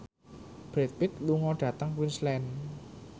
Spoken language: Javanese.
Brad Pitt lunga dhateng Queensland